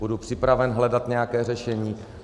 Budu připraven hledat nějaké řešení.